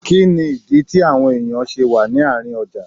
Kínní ìdí tí àwọn èèyàn ṣe wà ní àárín ọjà?